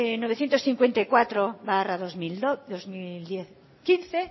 novecientos cincuenta y cuatro barra dos mil quince